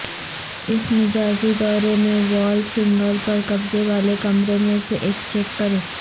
اس مجازی دورے میں والچ سنگل پر قبضے والے کمرے میں سے ایک چیک کریں